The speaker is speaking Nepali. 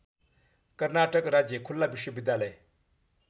कर्नाटक राज्य खुल्ला विश्वविद्यालय